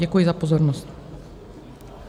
Děkuji za pozornost.